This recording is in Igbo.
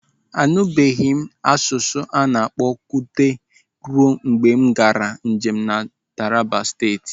Anutubeghi m asụsụ ana-akpọ Kuteb ruo mgbe m gaara njem na Taraba Steeti.